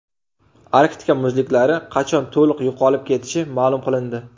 Arktika muzliklari qachon to‘liq yo‘qolib ketishi ma’lum qilindi.